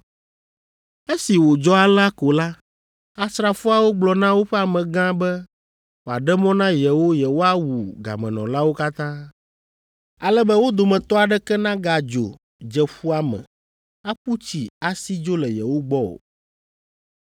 Esi wòdzɔ alea ko la, asrafoawo gblɔ na woƒe amegã be wòaɖe mɔ na yewo yewoawu gamemɔlawo katã, ale be wo dometɔ aɖeke nagadzo dze ƒua me, aƒu tsi asi dzo le yewo gbɔ o.